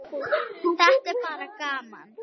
Þetta er bara gaman.